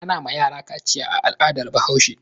Ana ma yara kaciya a al'adar Bahaushe.